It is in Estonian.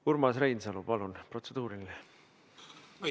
Urmas Reinsalu, palun, protseduuriline!